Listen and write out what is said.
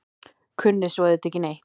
Kunni svo auðvitað ekki neitt.